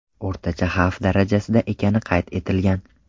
O‘rtacha xavf darajasida ekani qayd etilgan.